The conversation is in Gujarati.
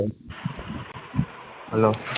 hello